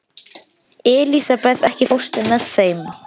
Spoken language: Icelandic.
Elísabeth, ekki fórstu með þeim?